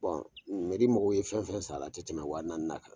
mɔgɔw ye fɛn fɛn san la, a ti tɛmɛ wa naani na kan.